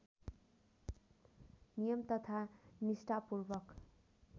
नियम तथा निष्ठापूर्वक